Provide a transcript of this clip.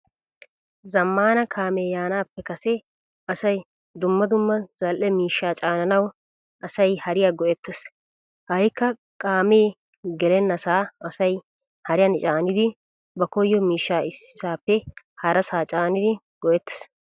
Zamaana kaame yaanappe kase asay dumma dumma zal'ee miishshaa caananawu asay hariyaa go'ettees. Ha'kka kaame gelennasa asay hariyan caanid ba koyo miishshaa issisappe harassa caanidi go'ettettees.